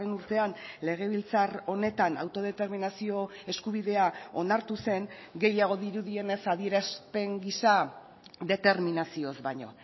urtean legebiltzar honetan autodeterminazio eskubidea onartu zen gehiago dirudienez adierazpen gisa determinazioz baino